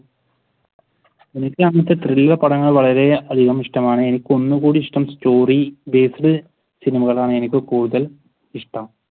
എനിക്ക് അങ്ങനത്തെ thrill പടങ്ങൾ വളരെ അധികം ഇഷ്ടമാണ്. എനിക്ക് ഒന്ന് കൂടി ഇഷ്ടം story based സിനിമകളാണ്. എനിക്ക് കൂടുതൽ ഇഷ്ടം.